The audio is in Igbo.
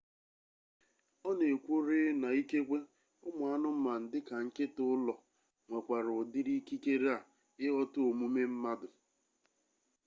ọ na-ekwu rịị na ikekwe ụmụ anụmanụ dịka nkịta ụlọ nwekwara ụdịrị ikikere a ịghọta omume mmadụ